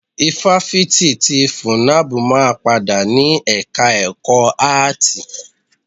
Ifáfitì ti FUNNAB máa padà ni ẹka ẹ̀kọ́ áàtì.